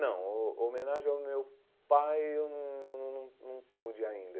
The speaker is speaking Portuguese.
Não, ho homenagem ao meu pai eu não não não não não pude ainda.